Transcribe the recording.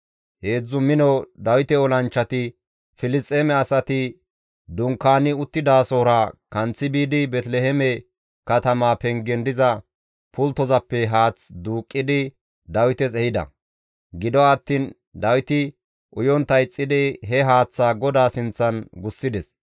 Heedzdzu mino Dawite olanchchati Filisxeeme asati dunkaani uttidasohora kanththi biidi Beeteliheeme katamaa pengen diza pulttozappe haath duuqqidi Dawites ehida; gido attiin Dawiti uyontta ixxidi he haaththaa GODAA sinththan gussides.